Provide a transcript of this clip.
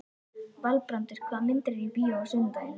Valbrandur, hvaða myndir eru í bíó á sunnudaginn?